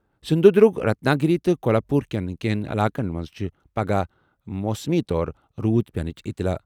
سِندھوٗدُرگ، Ratnagiri تہٕ کولہاپوٗر کیٚن کیٚنٛہن علاقن منٛز چھےٚ پَگہہ موسمی طور روٗد پیٚنٕچ اطلاع۔